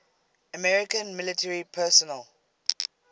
american military personnel